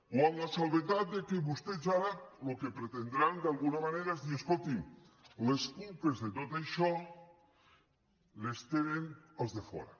o amb l’excepció que vostès ara el que pretendran d’alguna manera és dir escolti les culpes de tot això les tenen els de fora